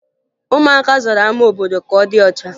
Ụmụaka zara ama obodo ka ọ dị ọcha